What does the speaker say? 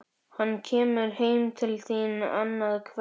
Hann kemur heim til þín annað kvöld